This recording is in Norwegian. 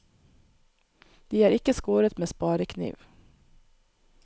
De er ikke skåret med sparekniv.